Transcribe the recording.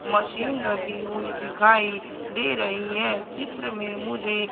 Machine रखी हुई दिखाई दे रही है। चित्र में मुझे--